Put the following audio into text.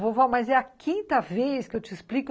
Vovó, mas é a quinta vez que eu te explico.